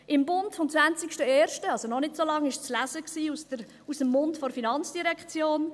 Im «Bund» vom 20.01. – das ist also noch nicht so lange her – war zu lesen, aus dem Mund der FIN: